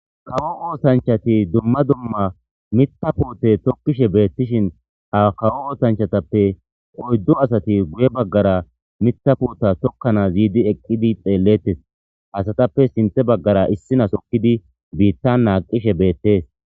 Kawo osanchati dumma dumma mitha puuteta tokishe beetishn ha kawo osanchateppe oydu asati guye bagara Mitha puuta tokanasi yiidi xeletesi. Asatappe sinthe bagara issinasi hokidi biitan naqishe beetesi.